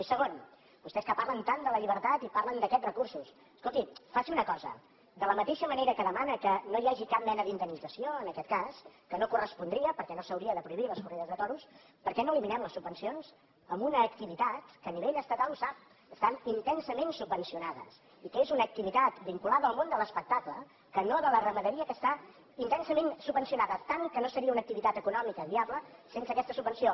i segon vostès que parlen tant de la llibertat i parlen d’aquests recursos escolti faci una cosa de la mateixa manera que demana que no hi hagi cap mena d’indemnització en aquest cas que no correspondria perquè no s’haurien de prohibir les corrides de toros per què no eliminem les subvencions a una activitat que a nivell estatal ho sap està intensament subvencionada i que és una activitat vinculada al món de l’espectacle que no de la ramaderia que està intensament subvencionada tant que no seria una activitat econòmica viable sense aquesta subvenció